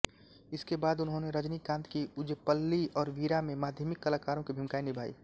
इसके बाद उन्होंने रजनीकांत की उज़ैप्पली और वीरा में माध्यमिक कलाकारों की भूमिकाएँ निभाईं